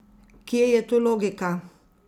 Kje je tu logika?